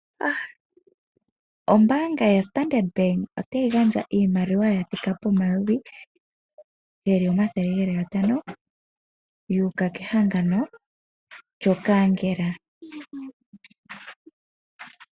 Ombaanga yaStandard otayi gandja iimaliwa ya thika pomayovi geli omathele geli gatano, yu uka kehangano lyokankela.